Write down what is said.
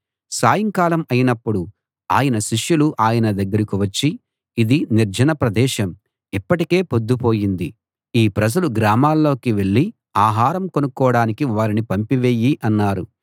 సాయంకాలం అయినప్పుడు ఆయన శిష్యులు ఆయన దగ్గరికి వచ్చి ఇది నిర్జన ప్రదేశం ఇప్పటికే పొద్దుపోయింది ఈ ప్రజలు గ్రామాల్లోకి వెళ్ళి ఆహారం కొనుక్కోడానికి వారిని పంపి వెయ్యి అన్నారు